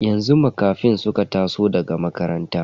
Yanzu Makafin suka taso daga makaranta.